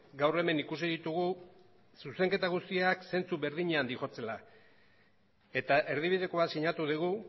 gaur hemen ikusi ditugu zuzenketa guztiak zentzu berdinean doazela eta erdibidekoa sinatu dugu